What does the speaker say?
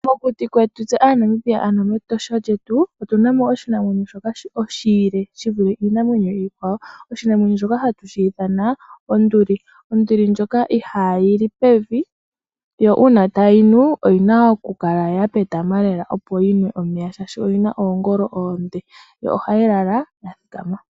Mokuti kwetu se aaNamibia ano mEtosha letu otunamo oshinamwenyo shoka oshile shivule iinamwenyo iikwawo oshinamwenyo shoka hatushi ithana onduli. Onduli ndjoka ihaayi li pevi yo uuna tayi nu oyina okukala yapetama lela opo yinwe omeya shoka oyina oongolo oonde yo ohayi lala yathikama.